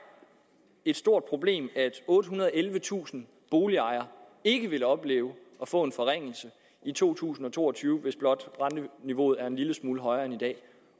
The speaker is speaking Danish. et stort problem at ottehundrede og ellevetusind boligejere ikke vil opleve at få en forringelse i to tusind og to og tyve hvis blot renteniveauet er en lille smule højere end i dag